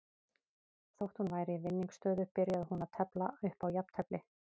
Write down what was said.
Þótt hún væri í vinningsstöðu byrjaði hún að tefla upp á jafntefli.